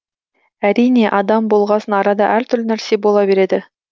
әрине адам болғасын арада әртүрлі нәрсе бола береді